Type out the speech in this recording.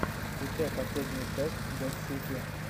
включай последнюю часть дэд сити